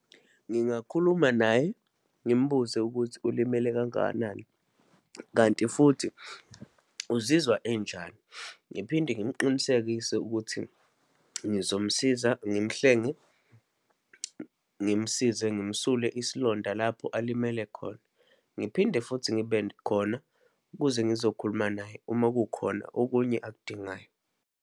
Ngingakhuluma naye, ngimbuze ukuthi ulimele kangakanani, kanti futhi uzizwa enjani. Ngiphinde ngimqinisekise ukuthi ngizomsiza, ngimhlenge, ngimsize, ngimsule isilonda lapho alimele khona. Ngiphinde futhi ngibe khona ukuze ngizokhuluma naye uma kukhona okunye akudingayo.